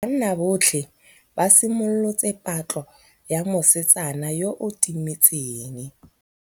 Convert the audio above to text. Banna botlhê ba simolotse patlô ya mosetsana yo o timetseng.